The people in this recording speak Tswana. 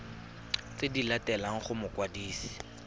tse di latelang go mokwadisi